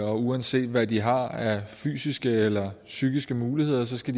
og uanset hvad de har af fysiske eller psykiske muligheder skal